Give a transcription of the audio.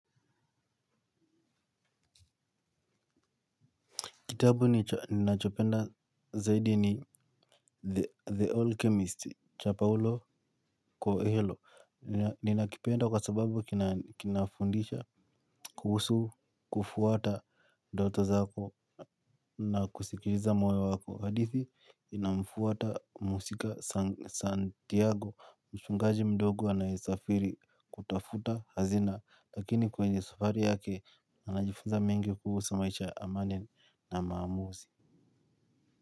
Kitabu ninachopenda zaidi ni The Alchemist cha Paulo Coelho. Ninakipenda kwa sababu kinafundisha, kuhusu, kufuata doto zako na kusikiriza moyo wako. Hadithi, inamfuata muhusika Santiago. Mchungaji mdogo anayesafiri kutafuta hazina. Lakini kwenye safari yake, anajifunza mingi kuhusu maisha ya amani na maamuzi.